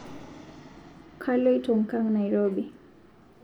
Kaloito nkang Nairobi